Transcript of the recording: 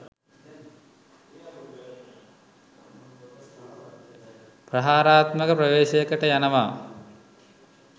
ප්‍රහාරාත්මක ප්‍රවේශයකට යනවා